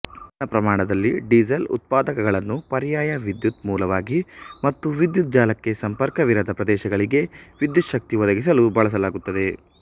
ಸಣ್ಣ ಪ್ರಮಾಣದಲ್ಲಿ ಡೀಸಲ್ ಉತ್ಪಾದಕಗಳನ್ನು ಪರ್ಯಾಯ ವಿದ್ಯುತ್ ಮೂಲವಾಗಿ ಮತ್ತು ವಿದ್ಯುತ್ ಜಾಲಕ್ಕೆ ಸಂಪರ್ಕವಿರದ ಪ್ರದೇಶಗಳಿಗೆ ವಿದ್ಯುಚ್ಛಕ್ತಿ ಒದಗಿಸಲು ಬಳಸಲಾಗುತ್ತದೆ